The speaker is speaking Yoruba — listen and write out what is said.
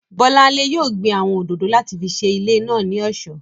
Bọ́lánlé yóò gbin àwọn òdòdó láti fi ṣe ilé náà ní ọ̀ṣọ́